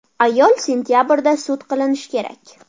Ayol sentabrda sud qilinishi kerak.